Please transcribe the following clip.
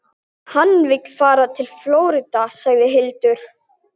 Hann vildi fara til Flórída, sagði Hildur.